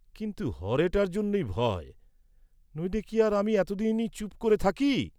কিন্তু হরেটার জন্যই ভয়, নইলে কি আর আমি এতদিনই চুপ করে থাকি!